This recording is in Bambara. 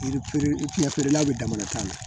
Yiri feerekɛlaw bɛ damana tan de